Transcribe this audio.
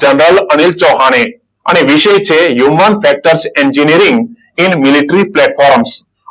General Anil Chauhan અને વિષય છે હ્યુમન ફેક્ટર્સ એન્જિનિયરિંગ મિલેટ્રી પ્લેટફોર્મન્સ.